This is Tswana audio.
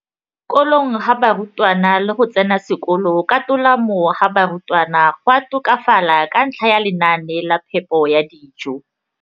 Kolong ga barutwana le go tsena sekolo ka tolamo ga barutwana go a tokafala ka ntlha ya lenaane la phepo ya dijo.